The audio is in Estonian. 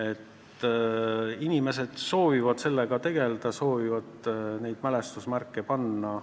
Aga inimesed soovivad sellega tegelda ja neid mälestusmärke panna.